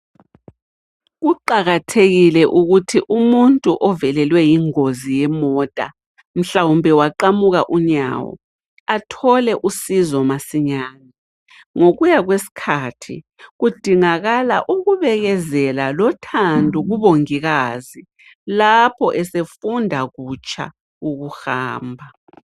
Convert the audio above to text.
Kuqakathekile ukuthi umuntu ovelelwe yingozi yemota, mhlawumbe waqamuka unyawo athole usizo masinyane. Ngokuya kwesikhathi kudingakala ukubekezela lothando kubongikazi lapho esefunda kutsha ukuhamba.